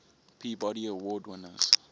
peabody award winners